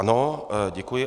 Ano, děkuji.